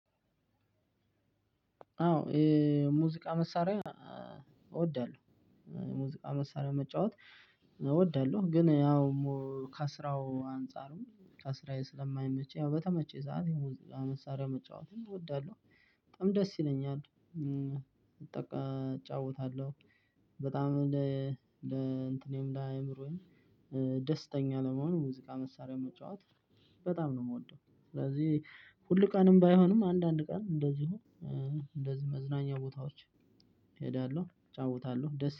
አዎ የሙዚቃ መሳሪያ እወዳለሁ የሙዚቃ መሳሪያ መጫወት እወዳለሁ ግን ያው ከስራው አንፃርም ከስራዬ ስለማይመቸኝ ያው በተመቸኝ ሰዓት የሙዚቃ መሳሪያ መጫወትም እወዳለሁ። በጣም ደስ ይለኛል። እጫወታለሁ። በጣም ለ እንትኔም ለአእምሮዬም ደስተኛ ለመሆን ሙዚቃ መሳሪያ መጫወት በጣም ነው የምወደው። ስለዚህ ሁል ቀንም ባይሆንም አንዳንድ ቀን እንደዚሁ እንደዚህ መዝናኛ ቦታዎች እሄዳለሁ እጫወታለሁ ደስ